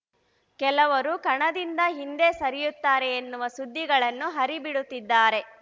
ಕೆಲವರು ಕಣದಿಂದ ಹಿಂದೆ ಸರಿಯುತ್ತಾರೆ ಎನ್ನುವ ಸುದ್ದಿಗಳನ್ನು ಹರಿಬಿಡುತ್ತಿದ್ದಾರೆ